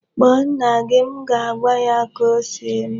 Kpọọ nna gị! M ga-agwa ya ka o si mee.